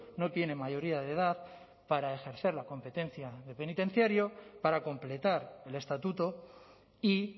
no tiene mayoría de edad para ejercer la competencia de penitenciario para completar el estatuto y